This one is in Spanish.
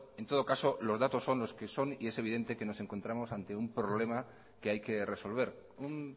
en todo caso los datos son los que son y es evidente que nos encontramos ante un problema que hay que resolver un